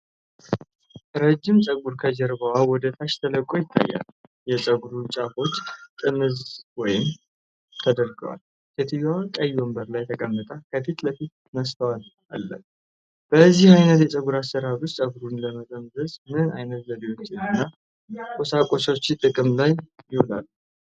ረጅም ጸጉር ከጀርባ ወደ ታች ተለቆ ይታያል። የጸጉሩ ጫፎች ጥምዝ ወይም ተደርገዋል። ሴትዮዋ ቀይ ወንበር ላይ ተቀምጣ ከፊት ለፊቷ መስተዋት አለ።። በዚህ ዓይነት የጸጉር አሠራር ውስጥ ጸጉሩን ለመጠምዘዝ ምን ዓይነት ዘዴዎችና ቁሳቁሶች ጥቅም ላይ ይውላሉ?